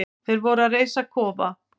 Þeir voru að reisa kofa.